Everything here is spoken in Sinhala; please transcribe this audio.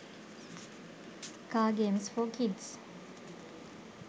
car games for kids